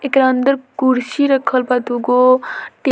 एकरा अंदर कुर्सी रखल बा दूगो टे --